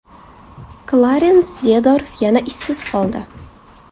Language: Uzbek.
Klarens Zeedorf yana ishsiz qoldi.